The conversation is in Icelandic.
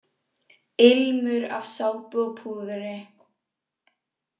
Ilmur af sápu og púðri.